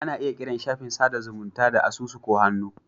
Ana iya kiran shafin sada zumunta da asusu ko hannu.